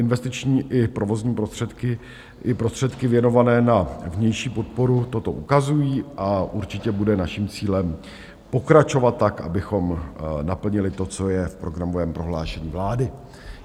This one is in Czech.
Investiční i provozní prostředky i prostředky věnované na vnější podporu toto ukazují a určitě bude naším cílem pokračovat tak, abychom naplnili to, co je v programovém prohlášení vlády.